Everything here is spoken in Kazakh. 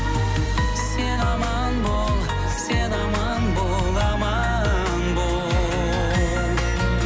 сен аман бол сен аман бол аман бол